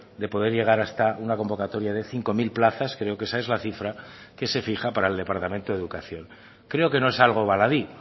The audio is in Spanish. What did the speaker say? de poder llegar hasta una convocatoria de cinco mil plazas creo que esa es la cifraque se fija para el departamento de educación creo que no es algo baladí